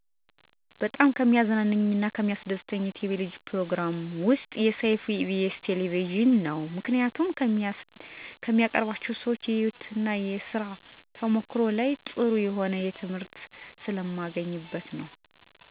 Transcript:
በጣም የሚያዝናናኝ የቴሌቪዥን ፕሮግራም ሰይፉ በኢቢኤስ ቴሌቪዥን ነው. ምክንያቱም ከሚያቀርባቸው ሰዎች የህይወት እና የስራ ተሞክሯቸው ላይ ጥሩ የሆነ ትምህርት ስለማገኝበት ነው.